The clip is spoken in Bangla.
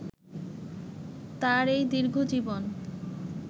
তাঁর এই দীর্ঘজীবন